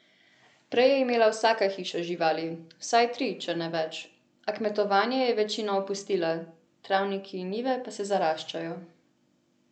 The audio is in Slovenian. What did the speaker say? Prej je imela vsaka hiša živali, vsaj tri, če ne več, a kmetovanje je večina opustila, travniki in njive pa se zaraščajo.